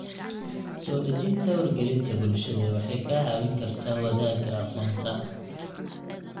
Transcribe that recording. Soo dhejinta wargelinta bulshada waxay kaa caawin kartaa wadaagga aqoonta.